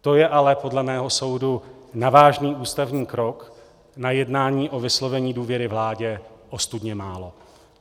To je ale podle mého soudu na vážný ústavní krok na jednání o vyslovení důvěry vládě ostudně málo.